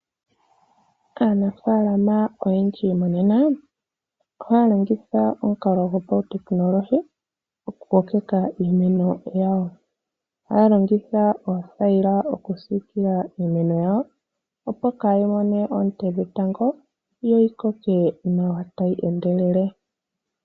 Aanafalama oyendji monena ohaya longitha omukalo gopautekinolohi okukokeka iimeno yawo. Ohaya longitha oothayila okusiikila iimeno yawo, opo kaayi mone oonte dhetango noyi koke tayi endelele.